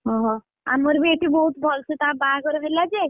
ଓହୋ, ଆମର ବି ଏଠି ବହୁତ ଭଲ ସେ ତା ବାହାଘର ହେଲା ଯେ,